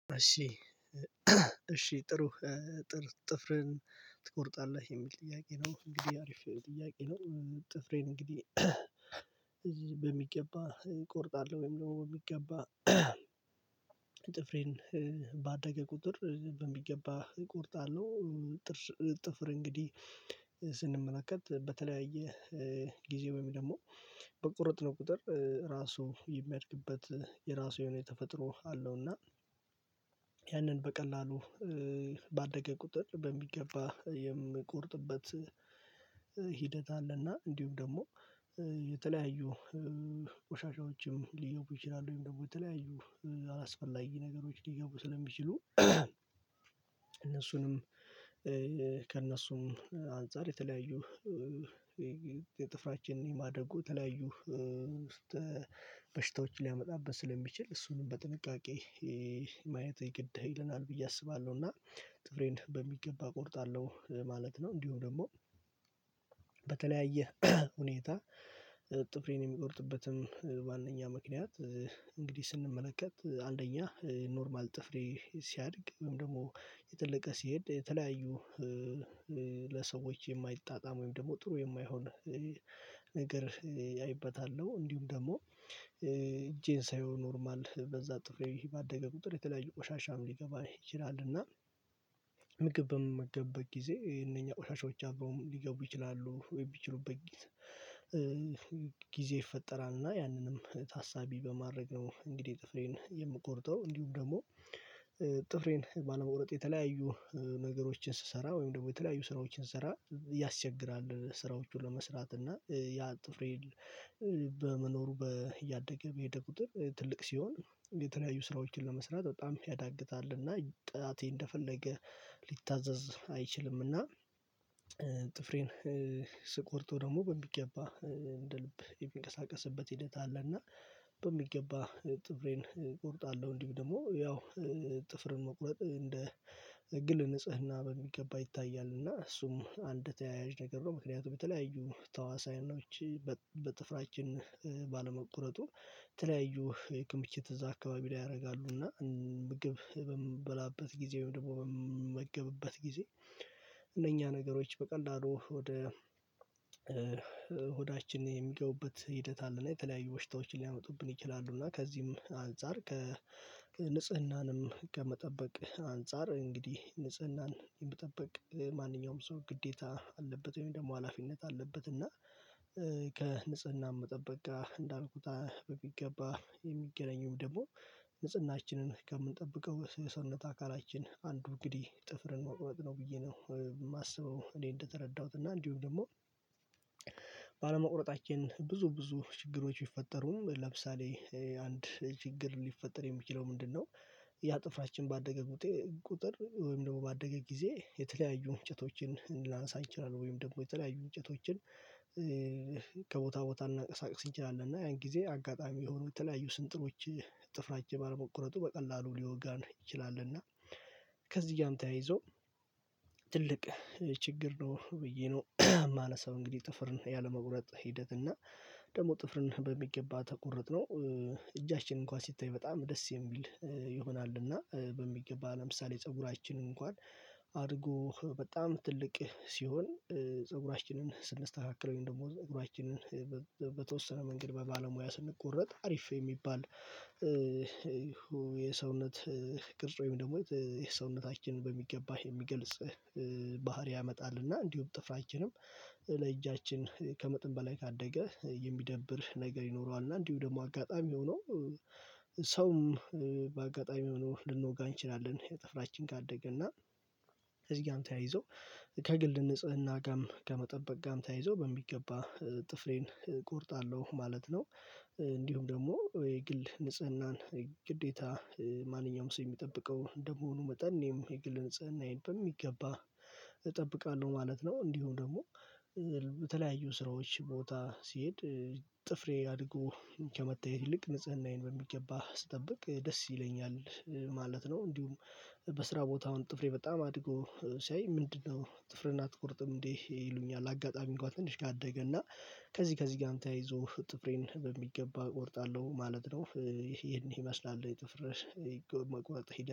እሺ እሺ ጥሩ ጥር ጥፍርን ትቆርጣለህ? የሚል ጥያቄ ነው እንግዲህ አሪፍ ጥያቄ ነው ጥፍሬን እንግዲህ በሚገባ እቆርጣለሁ ወይም በሚገባ ጥፍሬን ባደገ ቁጥር በሚገባ እቆርጣለሁ። ጥፍር እንግዲህ ስንመለከት በተለያየ ጊዜ ወይም ደግሞ በቆረጥነው ቁጥር ራሱ የሚያድግበት የራሱ የሆነ የተፈጥሮ አለው እና ያንን በቀላሉ ባደገ ቁጥር በሚገባ የምቆርጥበት ሂደት አለና እንዲሁም ደግሞ የተለያዩ ቆሻሻዎችም ሊኖሩ ይችላሉ ወይም ደግሞ የተለያዩ አላስፈላጊ ነገሮች ሊገቡ ስለሚችሉ እነሱንም ከእነሱም አንፃር የተለያዩ ጥፍራችንን የማደጉ የተለያዩ በሽታዎች ሊያመጣብን ስለሚችል እሱንም በጥንቃቄ ማየት ይግድ ይለናል ብዬ አስባለሁ እና ጥፍሬን በሚገባ እቆርጣለሁ ማለት ነው እንዲሁ ደግሞ በተለያየ ሁኔታ ጥፍሬን የሚቆርጥበትም ዋነኛ ምክንያት እንግዲህ ስንመለከት አንደኛ ኖርማል ጥፍሬ ሲያድግ ወይም ደግሞ እየተለቀ ሲሄድ የተለያዩ ለሰዎች የማይጣጣም ወይም ደግሞ ጥሩ የማይሆን ነገር አይበታለሁ። እንዲሁም ደግሞ እጄን ሳየው ኖርማል በዛ ጥፍሬ ባደገ ቁጥር የተለያየ ቆሻሻም ሊገባ ይችላል እና ምግብ በምመገብበት ጊዜ እነኛ ቆሻሻዎች አብረውም ሊገቡ ይችላሉ ሚችሉበት ጊዜ ጊዜ ይፈጠራል እና ያንንም ታሳቢ በማድረግ ነው እንግዲህ ጥፍሬን የምቆርጠው እንዲሁም ደግሞ ጥፍሬን ባለመቁረጥ የተለያዩ ነገሮችን ስሰራ ወይም ደግሞ የተለያዩ ስራዎችን ስሰራ ያስቸግራል ስራዎቹን ለመስራት እና ያ ጥፍሬን በመኖሩ በያደገ በሄደ ቁጥር ትልቅ ሲሆን የተለያዩ ስራዎችን ለመስራት በጣም ያዳግታል እና ጣቴ እንደፈለገ ሊታዘዝ አይችልምና ጥፍሬን ስቆርጠው ደግሞ በሚገባ እንደ ልብ የሚንቀሳቀስበት ሂደት አለ እና በሚገባ ጥፍሬን እቆርጣለሁ እንዲሁም ደግሞ ያው ጥፍርን መቁረጥ እንደ ግል ንጽህና በሚገባ ይታያል እና እሱም አንድ ተያያዥ ነገር ነው ምክንያቱም የተለያዩ ተዋሳይኖች በጥፍራችን ባለመቁረጡ ተለያዩ የክምችት እዛ አካባቢ ላይ ያረጋሉ እና ምግብ በምበላበት ጊዜ ደግሞ በምመገብበት ጊዜ እነኛ ነገሮች በቀለሉ ወደ ሆዳችን የሚገቡበት ሂደት አለና የተለያዩ በሽታዎችን ሊያመጡብን ይችላሉ እና ከዚህም አንፃር ከንጽህናንም ከመጠበቅ አንፃር እንግዲህ ንጽህናን የመጠበቅ ማንኛውም ሰው ግዴታ አለበት ወይም ደግሞ ሀላፊነት አለበት እና ከንጽህና መጠበቅ ጋር እንዳልኩት በሚገባ የሚገናኝውም ደግሞ ንጽህናችንን ከምንጠብቀው የሰውነት አካላችን አንዱ እንግዲህ ጥፍርን መቁመጥ ነው ብዬ ነው የማስበው እኔ እንደተረዳሁት እና እንዲሁም ደግሞ ባለመቁረጣችን ብዙ ብዙ ችግሮች ይፈጠሩም ለምሳሌ አንድ ችግር ሊፈጠር የሚችለው ምንድነው ያ ጥፍራችን ባደገ ቁጥር ወይም ደግሞ ባደገ ጊዜ የተለያዩ እንጭቶችን ላነሳ እችላለው ወይም ደግሞ የተለያዩ እንጭቶችን ከቦታ ቦታ እናንቀሳቅስ እንችላለን እና ያን ጊዜ አጋጣሚ የሆኑ የተለያዩ ስንጥሮች ጥፍራችን ባልመቁረጡ በቀላሉ ሊወጋን ይችላል እና ከዚህ ጋርም ተያይዞ ትልቅ ችግር ነው ብዬ ነው ማለት ነው እንግዲህ ጥፍርን ያለመቁረጥ ሂደት እና ደግሞ ጥፍርን በሚገባ ተቆርጦ እጃችንን እንኳን ሲታይ በጣም ደስ የሚል ይሆናልና በሚገባ ለምሳሌ ፀጉራችን እንኳን አድጎ በጣም ትልቅ ሲሆን ፀጉራችንን ስንስተካከለው ደግሞ ጸጉሯችንን በተወሰነ መንገድ በባለሙያ ስንቆረጥ አሪፍ የሚባል የሰውነት ቅርጽ ወይም ደግሞ ሰውነታችን በሚገባህ የሚገልጽ ባህሪ ያመጣል እና እንዲሁም ጥፍራችንም ለእጃችን ከመጠን በላይ ካደገ የሚደብር ነገር ይኖረዋል እና እንዲሁ ደግሞ አጋጣሚ ሆኖ ሰውም በአጋጣሚ ሆኖ ልንወጋ እንችላለን ጥፍራችን ካደገ እና ከዚጋም ተያይዞ ከግል ንጽህና ጋም ከመጠበቅ ጋም ተያይዞ በሚገባ ጥፍሬን እቆርጣለሁ ማለት ነው። እንዲሁም ደግሞ የግል ንጽህናን ግዴታ ማንኛውም ሰው የሚጠብቀው እንደመሆኑ መጠን እኔም የግል ንጽህናዬን በሚገባ እጠብቃለሁ ማለት ነው እንዲሁም ደግሞ በተለያዩ ስራዎች ቦታ ሲሄድ ጥፍሬ አድጎ ከመታየት ይልቅ ንጽህናዬን በሚገባ ስጠብቅ ደስ ይለኛል። ማለት ነው እንዲሁም በስራ ቦታውም ጥፍሬ በጣም አድጎ ሲያይ ምንድነው ጥፍርህን አትቆርጥም እንዴ ይሉኛል አጋጣሚ እንኳን ትንሽ ከአደገ እና ከዚህ ከዚህ ጋም ተያይዞ ጥፍሬን በሚገባ እቆርጣለሁ ማለት ነው። ይሄን ይመስላል የጥፍር መቆረጥ ሂደት